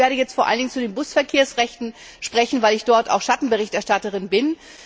Ich werde jetzt vor allen Dingen zu den Busverkehrsrechten sprechen, weil ich dort auch Schattenberichterstatterin bin.